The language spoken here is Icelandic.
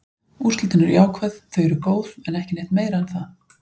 Úrslitin eru jákvæð, þau eru góð, en ekki neitt meira en það.